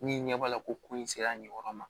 Min ɲɛ b'a la ko in sera nin yɔrɔ ma